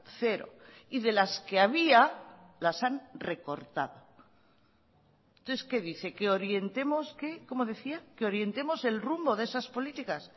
cero y de las que había las han recortado entonces que dice que orientemos qué cómo decía qué orientemos el rumbo de esas políticas